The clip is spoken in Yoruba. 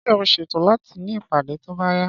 Ṣé o ṣètò láti ní ìpàdé tó bá yá?